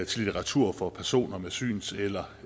til litteratur for personer med syns eller